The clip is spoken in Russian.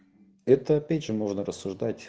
это опять же можно рассуждать